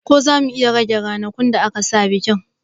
Ko zamu iya rage ranakun da aka sa bikin